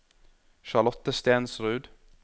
Charlotte Stensrud